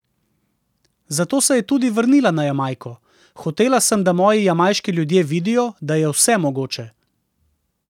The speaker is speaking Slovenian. Zato se je tudi vrnila na Jamajko: "Hotela sem, da moji jamajški ljudje vidijo, da je vse mogoče.